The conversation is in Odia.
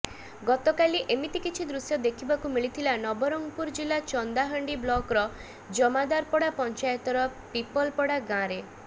ଗତକାଲି ଏମିତି କିଛି ଦୃଶ୍ୟ ଦେଖିବାକୁ ମିଳିଥିଲା ନବରଙ୍ଗପୁର ଜିଲ୍ଲା ଚନ୍ଦାହାଣ୍ଡି ବ୍ଲକର ଜମାଦାରପଡା ପଞ୍ଚାୟତର ପିପଲପଡ଼ା ଗାଁରେ